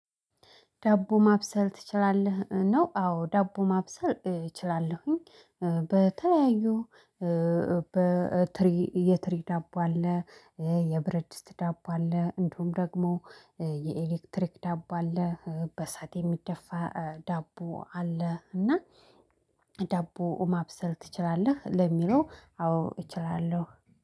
ዳቦ ማብሰል ትችላለህ ነው? አዎ ዳቦ ማብሰል እችላለሁኝ። በተለያዩ የትሪ ዳቦ አለ የብረድስ ዳቦ አለ። እንዲውም ደግሞ የኤሌክትሪክ ዳቦ አለ በእሳት የሚደፋ ዳቦ አለ። እና ዳቦ ማብሰል ትችላለህ ለሚለው አዎ እችላለሁ